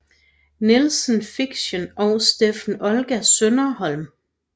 Nilsen Fiction og Steffen Olga Søderholm